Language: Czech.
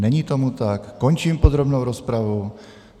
Není tomu tak, končím podrobnou rozpravu.